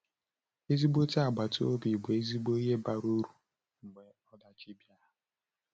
Ezigbo agbata obi bụ ezigbo ihe bara uru mgbe ọdachi bịara.